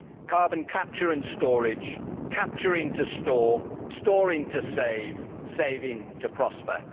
Carbon capture and storage capturing to store, storing to save, saving to prosper.